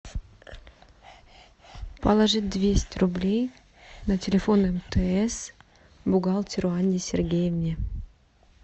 положить двести рублей на телефон мтс бухгалтеру анне сергеевне